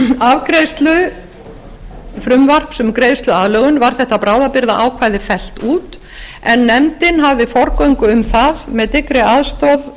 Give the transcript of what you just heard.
afgreiðslu frumvarps um greiðsluaðlögun var þetta bráðabirgðaákvæði fellt út en nefndin hafði forgöngu um það með dyggri aðstoð